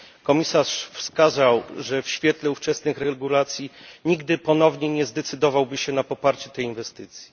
Komisarz wskazał, że w świetle ówczesnych regulacji nigdy ponownie nie zdecydowałby się na poparcie tej inwestycji.